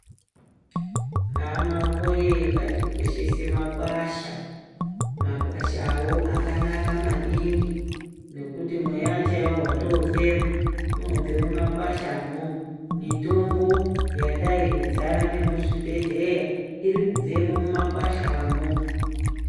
Hama woye ngatikoshese makwasha makwashawo akanaka maningi ngekuti mweya chaiwo watofema inobva mumakwashamo mitombo yadai kudzara nemuzvibhedhlera iri kubvemo mumakwashamo.